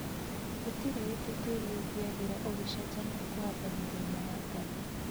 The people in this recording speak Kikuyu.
Gũtirĩ hĩndĩ tĩri ũngĩagĩra ũngĩchenjania kũhanda mĩthemba ya ngano